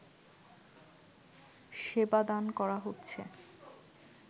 সেবা দান করা হচ্ছে